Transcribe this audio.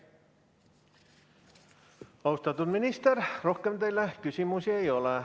Austatud minister, rohkem teile küsimusi ei ole.